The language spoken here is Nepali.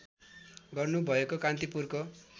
गर्नु भएको कान्तिपुरको